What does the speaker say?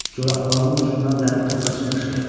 Corabbağının ucundan dəmir toqqa çıxmışdır.